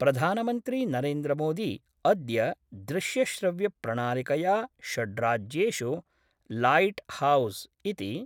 प्रधानमन्त्री नरेन्द्रमोदी अद्य दृश्यश्रव्यप्रणालिकया षड्राज्येषु लाइटहाउस इति